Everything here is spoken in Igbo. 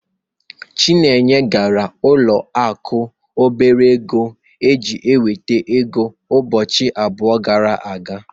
Chinenye gara ụlọ akụ obere ego iji nweta ego ụbọchị abụọ gara aga.